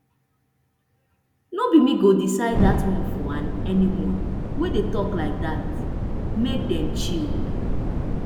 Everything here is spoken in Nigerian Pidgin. no be me go decide dat one for anyone wey dey tok like dat make dem chill